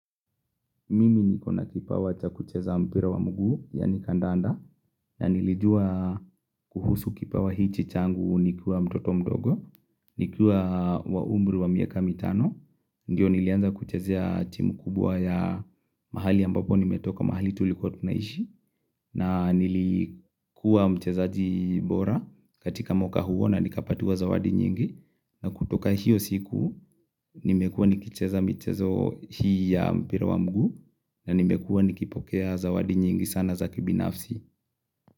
Mimi niko na kipawa cha kucheza mpira wa mguu, yani kandanda, na nilijua kuhusu kipawa hichi changu nikiwa mtoto mdogo, nikiwa wa umri wa miaka mitano, ndio nilianza kuchezea timu kubwa ya mahali ambapo nimetoka mahali tulikuwa tunaishi, na nilikuwa mchezaji bora katika mwaka huo na nikapatiwa zawadi nyingi, na kutoka hiyo siku, nimekuwa nikicheza michezo hii ya mpira wa mguu na nimekuwa nikipokea zawadi nyingi sana za kibinafsi.